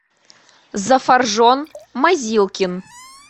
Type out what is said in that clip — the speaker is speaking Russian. зафаржон мазилкин